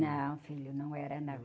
Não, filho, não era não.